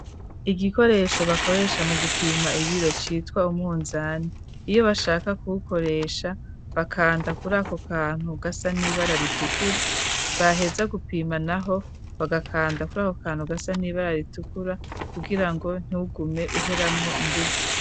Igikoresho bakoresha mu gupima ibiro citwa umwunzane, iyo bashaka kuwukoresha bakanda kuri ako kantu gasa n'ibara ritukura, baheza gupima naho bagakanda kuri ako kantu gasa n'ibara ritukura, kugira ngo ntugume uheramwo inguvu.